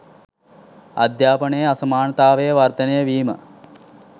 අධ්‍යාපනයේ අසමානතාවය වර්ධනය වීම